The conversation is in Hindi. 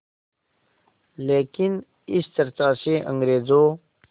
लेकिन इस चर्चा से अंग्रेज़ों